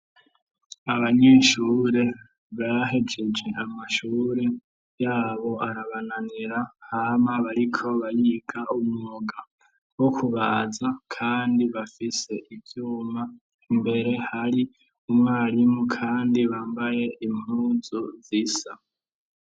Abanyeshure bahejeje amashure yabo arabananira, hama bariko barika umwuga wo kubaza kandi bafise ivyuma, imbere hari umwarimu kandi bambaye impunzu zisa.